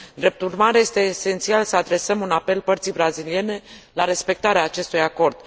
Drept urmare, este esențial să adresăm un apel părții braziliene la respectarea acestui acord.